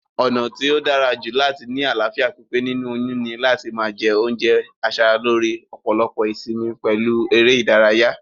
Ònà tó dárajù láti ni àláfíà pípé nínú oyún ni láti ma je oúnje asaralóre, òpòlopò ìsimi pèlu eré ìdárayá